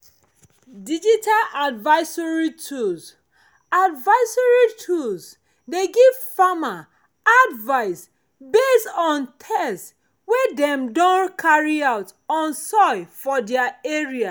digital advisory tools advisory tools dey give farmers advice based on test wey dem don carry out on soil for their area